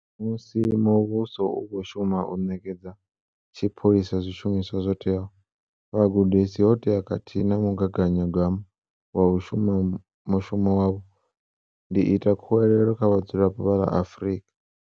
Musi muvhuso u khou shuma u ṋekedza tshipholisa zwishumiswa zwo teaho, vhugudisi hoteaho khathihi na mugaganyagwama wa u shuma mushumo wavho, ndi ita khuwelelo kha vhadzulapo vha ḽa Afrika